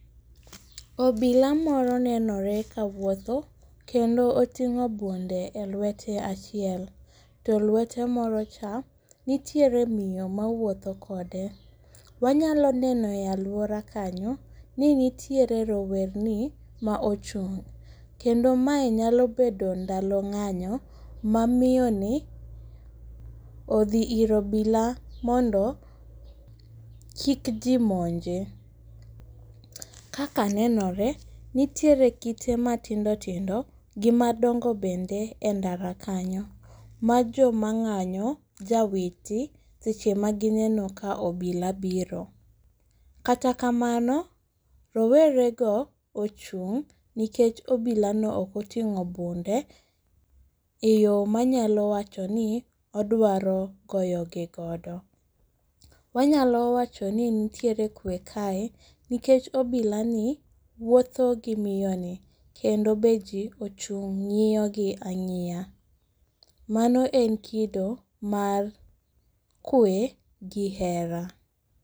Obila moro nenore kawuotho, kendo oting'o bunde e lwete achiel, to lwete morocha nitiere miyo mawuotho kode. Wanyalo neno e aluora kanyo, ni nitiere rowerni maochung' kendo mae nyalo bedo ndalo ng'anyo, mamiyoni odhi ir obila mondo kik jii muonje. Kaka nenore nitiere kite matindo tindo gi madongo bende e ndara kanyo majo mang'anyo jawiti seche magineno ka obila biro. Kata kamano rowerego ochung' nikech obilano okoting'o bunde e yo manyalo wachoni odwaro goyo gi godo. Wanyalo wachoni nitiere kwe kae nikech obilani wuotho gi miyoni kendo jii ochung' ng'iyogi ang'iya, mano en kido mar kwe gi hera.